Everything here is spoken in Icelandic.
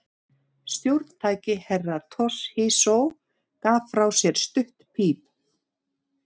Stjórntæki Herra Toshizo gaf frá sér stutt píp.